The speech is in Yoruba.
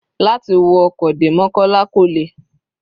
Láti wọ ọkọ̀ dé mokola kò le.